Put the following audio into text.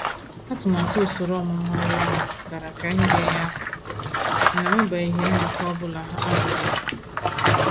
Atụmatụ usoro ọmụmụ ọrụ ahụ dara ka ihe ga-enyere aka ,mana enwebeghị nnọkọ ọ bụla ahaziri.